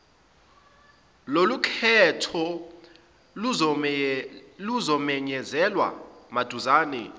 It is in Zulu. lolukhetho luzomenyezelwa maduzane